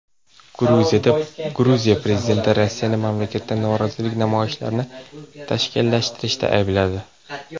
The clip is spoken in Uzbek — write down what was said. Gruziya prezidenti Rossiyani mamlakatda norozilik namoyishlarini tashkillashtirishda aybladi.